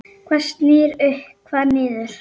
Hvað snýr upp, hvað niður?